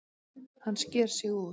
Hann sker sig úr.